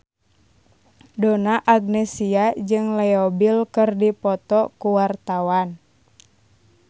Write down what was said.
Donna Agnesia jeung Leo Bill keur dipoto ku wartawan